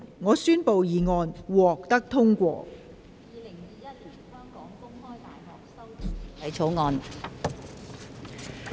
我宣布議案獲得通過。